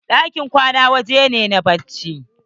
Ɗakin kwana waje ne na bacci.